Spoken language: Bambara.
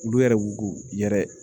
Olu yɛrɛ b'u yɛrɛ